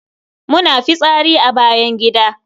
Muna fitsari a bayan gida.